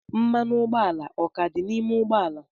Mmanụ ụgbọala o ka dị n'ime ụgbọ ala?